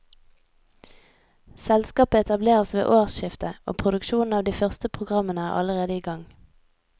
Selskapet etableres ved årsskiftet, og produksjonen av de første programmene er allerede i gang.